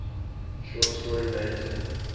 short story manga